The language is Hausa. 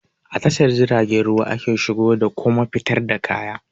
A tashar jiragen ruwa ake shigo da kuma fitar da kaya